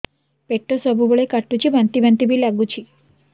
ପେଟ ସବୁବେଳେ କାଟୁଚି ବାନ୍ତି ବାନ୍ତି ବି ଲାଗୁଛି